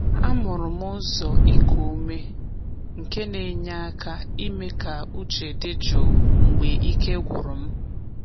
Amụrụ m ụzọ iku ume nke na-enye aka ime ka uche dị jụụ mgbe ike gwụrụ m.